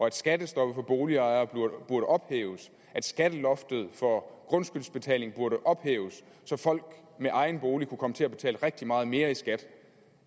at skattestoppet for boligejere burde ophæves og at skatteloftet for grundskyldsbetaling burde ophæves så folk med egen bolig kunne komme til at betale rigtig meget mere i skat